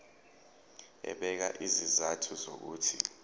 ebeka izizathu zokuthi